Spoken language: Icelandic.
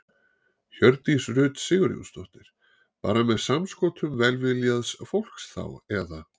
Hjördís Rut Sigurjónsdóttir: Bara með samskotum velviljaðs fólks þá eða?